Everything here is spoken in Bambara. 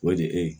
O de ye e ye